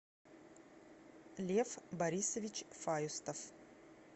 лев борисович фаюстов